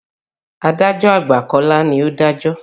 Adájọ́ àgbà Kọ́lá ni ó dájọ́.